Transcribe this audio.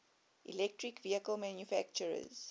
electric vehicle manufacturers